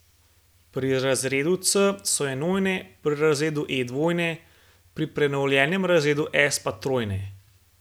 Pri razredu C so enojne, pri razredu E dvojne, pri prenovljenem razredu S pa trojne.